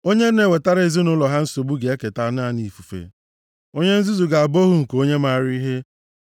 Onye na-ewetara ezinaụlọ ha nsogbu ga-eketa naanị ifufe, onye nzuzu ga-abụ ohu nke onye maara ihe.